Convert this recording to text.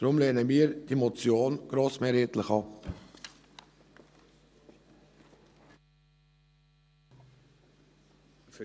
Deshalb lehnen wir diese Motionen grossmehrheitlich ab.